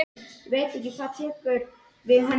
Embla, hvað er mikið eftir af niðurteljaranum?